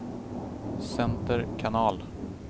center kanal